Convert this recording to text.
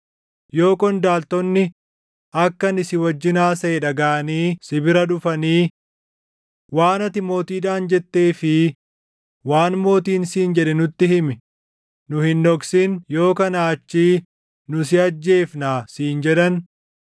Yoo qondaaltonni akka ani si wajjin haasaʼe dhagaʼanii si bira dhufanii, ‘Waan ati mootiidhaan jettee fi waan mootiin siin jedhe nutti himi; nu hin dhoksin; yoo kanaa achii nu si ajjeefnaa’ siin jedhan,